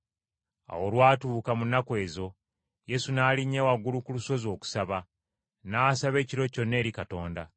Awo olwatuuka mu nnaku ezo, Yesu n’alinnya waggulu ku lusozi okusaba, n’asaba ekiro kyonna eri Katonda.